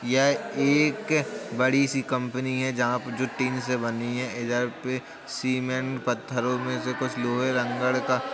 यह एक बड़ी सी कंपनी है। जहाँ पर जो टीन से बनी है। इधर पे सिमेन्ट पत्थरों में से लोहे लँगड़ का --